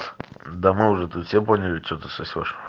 да мы уже тут все поняли что ты сосёшь